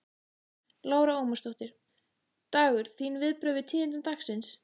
Lára Ómarsdóttir: Dagur, þín viðbrögð við tíðindum dagsins?